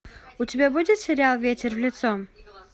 у тебя будет сериал ветер в лицо